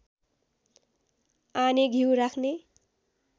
आने घ्यु राख्ने